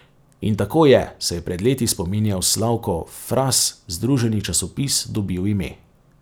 In tako je, se je pred leti spominjal Slavko Fras, združeni časopis dobil ime.